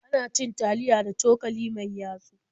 Ana cin taliya da cokali mai yatsu.